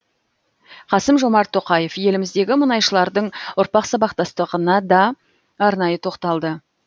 қасым жомарт тоқаев еліміздегі мұнайшылардың ұрпақ сабақтастығына да арнайы тоқталды